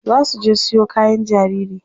Za su je siyo kayan jariri.